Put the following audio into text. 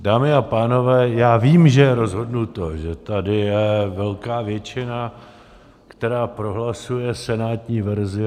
Dámy a pánové, já vím, že je rozhodnuto, že tady je velká většina, která prohlasuje senátní verzi.